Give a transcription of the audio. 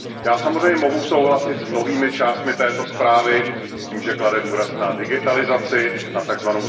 Já samozřejmě mohu souhlasit s mnohými částmi této zprávy, s tím, že klade důraz na digitalizaci, na tzv.